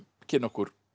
kynna okkur